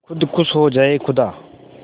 खुद खुश हो जाए खुदा